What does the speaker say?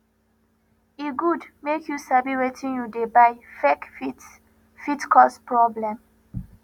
e good make you sabi wetin you dey buy fake fit fit cause problem